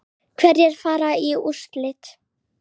Hverjir fara í úrslit?